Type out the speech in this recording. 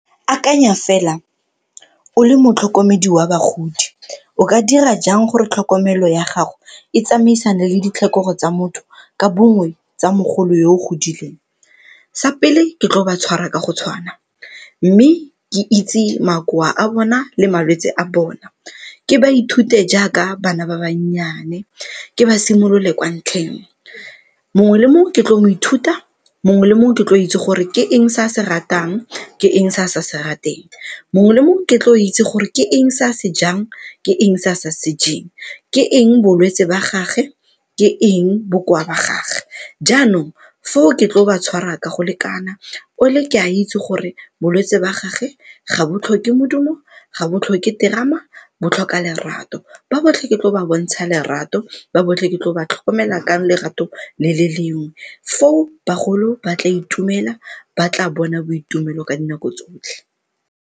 Akanya fela o le motlhokomedi wa bagodi o ka dira jang gore tlhokomelo ya gago e tsamaisane le ditlhokego tsa motho ka bongwe tsa mogolo yo o godileng? Sa pele, ke tlo ba tshwara ka go tshwana, mme ke itse makoa a bona le malwetse a bona. Ke ba ithute jaaka bana ba bannyane ke ba simolole kwa ntlheng, mongwe le mongwe ke tlo mo ithuta, mongwe le mongwe ke tlo itse gore ke eng se a se ratang, ke eng se a sa se rateng. Mongwe le mongwe ke tlo itse gore ke eng se a se jang, ke eng se a sa se jeng, ke eng bolwetse ba gage, ke eng bokoa ba gage? Jaanong, foo ke tlo ba tshwara ka go lekana, ole ke a itse gore bolwetse ba gagwe ga bo tlhoke modumo, ga bo tlhoke terama, bo tlhoka lerato. Ba botlhe ke tlo ba bontsha lerato, ba botlhe ke tlo ba tlhokomela ka lerato le le lengwe. Foo, bagolo ba tla itumela ba tla bona boitumelo ka dinako tsotlhe